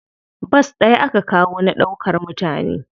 Bas ɗaya aka kawo na ɗaukar mutane.